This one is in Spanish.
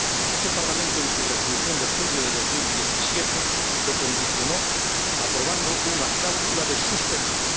Este Parlamento, en su Resolución de julio de 2017, lo condicionó aprobando una cláusula de suspensión.